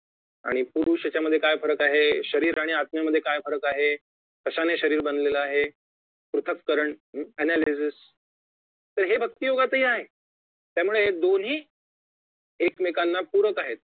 आणि पुरुष यांच्यामधे काय फरक आहे शरीर आणि आत्म्यामधे काय फरक आहे कशाने शरीर बनलेलं आहे पृथकरण analysis तर हे भक्ती योगातही आहे त्यामुळे दोन्ही एकमेकांना पूरक आहेत